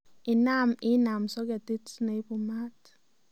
Inaam inam soketit neibu maat